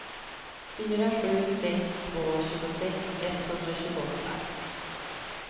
fyra sju sex två tjugosex etthundratjugoåtta